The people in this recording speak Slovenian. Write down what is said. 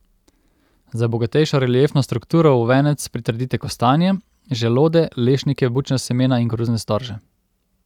Za bogatejšo reliefno strukturo v venec pritrdite kostanje, želode, lešnike, bučna semena in koruzne storže.